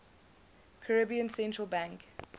caribbean central bank